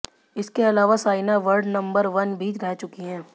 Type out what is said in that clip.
इसके अलावा Saina world number one भी रह चुकी हैं